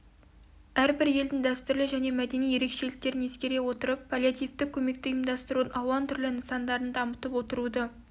әрбір елдің дәстүрлі және мәдени ерекшеліктерін ескере отырып паллиативтік көмекті ұйымдастырудың алуан түрлі нысандарын дамытып отыруды